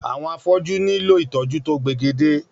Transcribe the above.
Àwọn afọ́jú nílò ìtọ́jú to pegedé